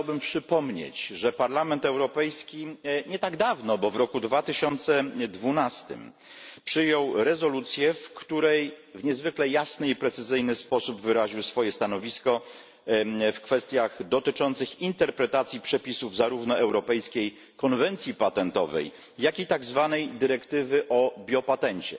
Chciałbym przypomnieć, że Parlament Europejski nie tak dawno, bo w 2012 r., przyjął rezolucję, w której w niezwykle jasny i precyzyjny sposób wyraził swoje stanowisko w kwestiach dotyczących interpretacji przepisów, zarówno europejskiej konwencji patentowej, jak i tzw. dyrektywy o biopatencie.